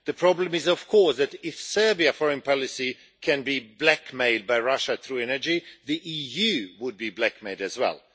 The problem is, of course, that if Serbian foreign policy can be blackmailed by Russia through energy, the EU would be blackmailed as well.